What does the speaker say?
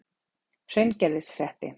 Hraungerðishreppi